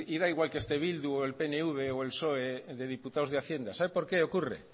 da igual que este bildu o el pnv o el psoe de diputados de hacienda sabe por qué ocurre